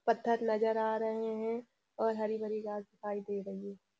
पत्थर नजर आ रहे हैं और हरी भरी घास दिखाई दे रही है।